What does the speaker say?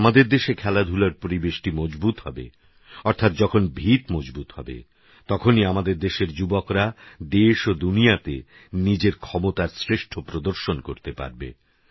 যখনআমাদেরদেশেখেলাধুলারপরিবেশটিমজবুতহবে অর্থাৎযখনভিতমজবুতহবে তখনইআমাদেরযুবকরাদেশওদুনিয়াতেনিজেরক্ষমতারশ্রেষ্ঠপ্রদর্শনকরতেপারবে